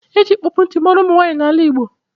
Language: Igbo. E ji ịkpọpụ nti mara ụmụnwanyị n’ala Igbo